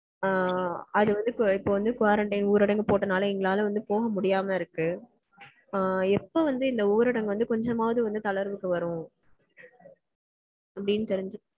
ஆஹ் அது வந்து இப்போ வந்து இப்போ quarantine ஊரடங்கு போட்டதால எங்களால வந்து போக முடியாம இருக்கு. எப்போ வந்து இந்த ஊரடங்கு வந்து கொஞ்சமாவது வந்து தளர்வுக்கு வரும்?